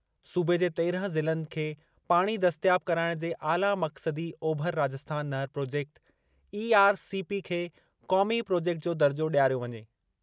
सूबे जे तेरहं ज़िलनि खे पाणी दस्तियाब कराइणु जे आला मक़्सदी ओभर राजस्थान नहर प्रोजेक्ट (ईआरसीपी) खे क़ौमी प्रोजेक्ट जो दर्जो डि॒यारियो वञे।